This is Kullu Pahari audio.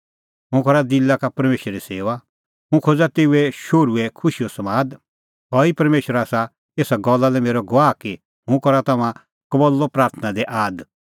हुंह करा दिला का परमेशरे सेऊआ हुंह खोज़ा तेऊए शोहरूओ खुशीओ समाद सह ई परमेशर आसा एसा गल्ला लै मेरअ गवाह कि हुंह करा तम्हां कबल्लअ प्राथणां दी आद